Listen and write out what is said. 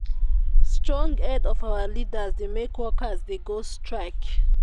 strong head of our leaders dey make workers dey go strike.